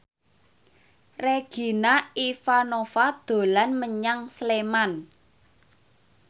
Regina Ivanova dolan menyang Sleman